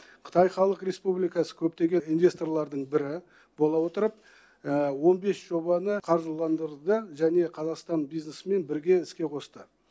қытай халық республикасы көптеген инвесторлардың бірі бола отырып он бес жобаны қаржыландырды да және қазақстан бизнесімен бірге іске қосты